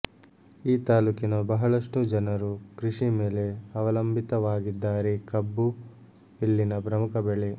ಈ ತಾಲುಕಿನ ಬಹಳಷ್ಟು ಜನರು ಕೃಷಿ ಮೇಲೆ ಅವಲಂಬಿತವಾಗಿದ್ದಾರೆ ಕಬ್ಬು ಇಲ್ಲಿನ ಪ್ರಮುಖ ಬೆಳೆ